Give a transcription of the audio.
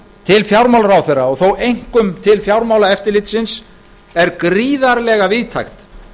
til fjármálaráðherra og þó einkum til fjármálaeftirlitsins er gríðarlega víðtækt